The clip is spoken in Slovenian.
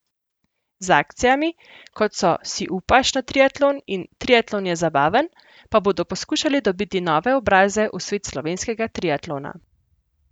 Z akcijami, kot so Si upaš na triatlon in Triatlon je zabaven, pa bodo poskušali dobiti nove obraze v svet slovenskega triatlona.